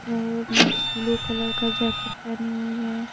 और nurse blue colour का jacket पहनी हुई है।